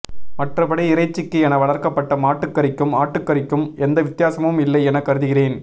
மற்றபடி இறைச்சிக்கு என வளர்க்கப்பட்ட மாட்டுக் கறிக்கும் ஆட்டுககறிக்கும் எந்த வித்தியாசமும் இல்லை என கருதுகிறேன்